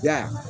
Ya